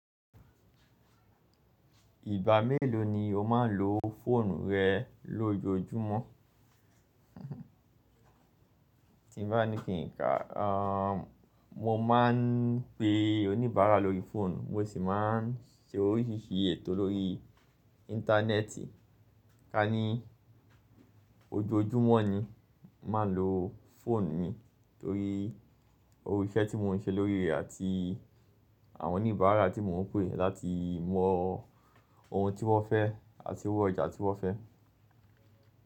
Ìgbà mélòó ni o máa ń lo fóònù rẹ lójoojúmọ́? Tí n bá ní kí n kàá, mo máa ń pe oníbàárà lórí fóònù, mo sì máa ń ṣe oríṣìíríṣìí ètò lórí íńtánẹ́ẹ̀tì. Ká ní ojoojúmọ́ ni n máa ń lo fóònù mi torí o iṣẹ́ tí mò ń ṣe lórí rẹ̀ àti àwọn oníbàárà tí mò ń pè láti mọ ohun tí wọ́n fẹ́ àti owó ọjà tí wọ́n fẹ́.